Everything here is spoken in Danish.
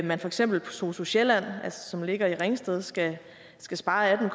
man for eksempel på sosu sjælland som ligger i ringsted skal skal spare